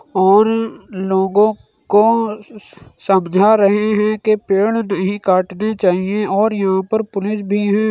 और लोगों को समझा रहे हैं कि पेड़ नहीं काटने चाहिए और यहां पर पुलिस भी हैं।